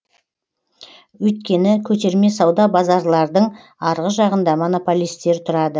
өйткені көтерме сауда базарлардың арғы жағында монополистер тұрады